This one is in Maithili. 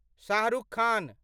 शाह रुख खान